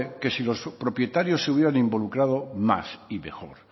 que si los propietarios se hubieran involucrado más y mejor